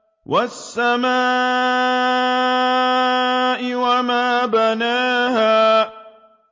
وَالسَّمَاءِ وَمَا بَنَاهَا